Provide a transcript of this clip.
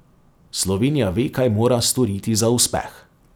Slovenija ve, kaj mora storiti za uspeh.